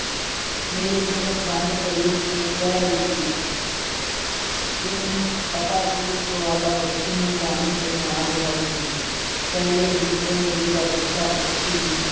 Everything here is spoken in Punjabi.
ਮੇਰੀ ਤ੍ਰੀਮਤ ਦੰਦ ਕਰੀਚ ਕੇ ਕਹਿ ਰਹਿ ਸੀ। ਉਸਨੂੰ ਪਤਾ ਸੀ, ਗਵਾਲਾ ਵੱਛੀ ਨੂੰ ਜਾਣ ਕੇ ਮਾਰ ਰਿਹਾ ਸੀ । ਪਹਿਲੇ ਵੀ ਤੇ ਨੀਲੀ ਦਾ ਵੱਛਾ-ਵੱਛੀ